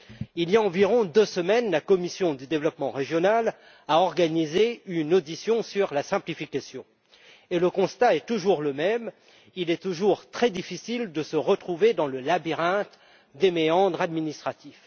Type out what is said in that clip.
Il y a environ deux semaines, la commission du développement régional a organisé une audition sur la simplification, et le constat est toujours le même il est toujours très difficile de s'y retrouver dans le labyrinthe des méandres administratifs.